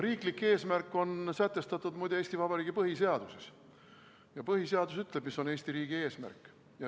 Riiklik eesmärk on sätestatud muide Eesti Vabariigi põhiseaduses, põhiseadus ütleb, mis on Eesti riigi eesmärk.